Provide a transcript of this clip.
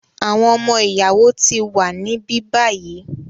Àwọn ọmọ-ìyàwó ti wà níbí báyìí.